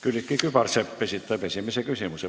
Külliki Kübarsepp esitab esimese küsimuse.